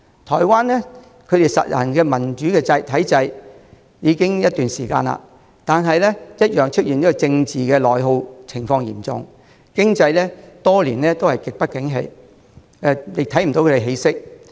台灣實行民主體制已經一段時間，但同樣政治內耗嚴重，經濟多年來極不景氣，也看不到起色。